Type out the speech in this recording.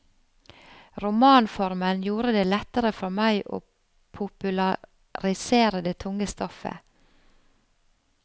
Romanformen gjorde det lettere for meg å popularisere det tunge stoffet.